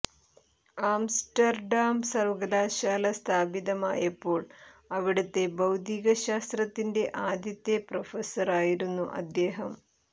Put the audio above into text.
Amsterdam സർവ്വകലാശാല സ്ഥാപിതമായപ്പോൾ അവിടുത്തെ ഭൌതികശാസ്ത്രത്തിന്റെ ആദ്യത്തെ പ്രൊഫസർ ആയിരുന്നു അദ്ദേഹം